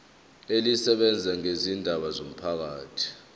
elisebenza ngezindaba zomphakathi